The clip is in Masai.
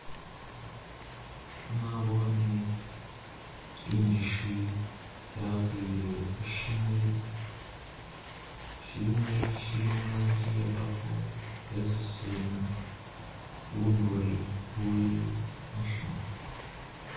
Nabone injushi yakwile hu shimuli, shimuli shili mulanji iya purple, hesusuna bunuri buli mushi muli